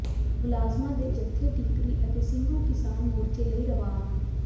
ਮੁਲਾਜ਼ਮਾਂ ਦੇ ਜਥੇ ਟੀਕਰੀ ਅਤੇ ਸਿੰਘੂ ਕਿਸਾਨ ਮੋਰਚੇ ਲਈ ਰਵਾਨ